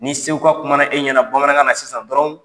Ni seguka kumana e ɲɛna bamanankan na sisan dɔrɔn